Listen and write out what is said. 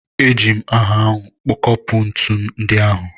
E ji m hama ahụ kopụ ntụnụ ndị ahụ.